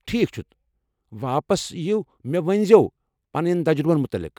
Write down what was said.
ٹھیکھ چھُ واپس یِیو مےٚ ؤنزِیو پنٕنین تجرُبن مُتعلق ۔